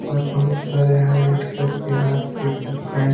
और बहुत सारे यहां रेड कलर के हार्ट से शेप का डिजाइन --